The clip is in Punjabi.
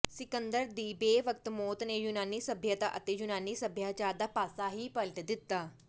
ਸਿਕੰਦਰ ਦੀ ਬੇਵਕਤ ਮੌਤ ਨੇ ਯੂਨਾਨੀ ਸੱਭਿਅਤਾ ਅਤੇ ਯੂਨਾਨੀ ਸਭਿਆਚਾਰ ਦਾ ਪਾਸਾ ਹੀ ਪਲਟ ਦਿੱਤਾ